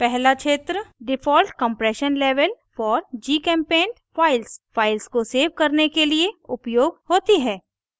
पहला क्षेत्र default compression level for gchempaint files files को सेव करने के लिए उपयोग होती है